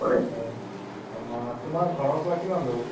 হয় সেইটো ভাল লাগে। চাৰা ভাল্লিও ভাল লাগে।